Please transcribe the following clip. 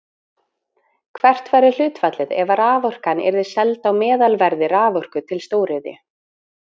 Hvert væri hlutfallið ef raforkan yrði seld á meðalverði raforku til stóriðju?